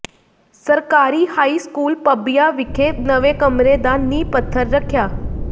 ਸਰਕਾਰੀ high school Pabbian ਵਿਖੇ ਨਵੇਂ ਕਮਰੇ ਦਾ ਨੀਂਹ ਪੱਥਰ ਰੱਖਿਆ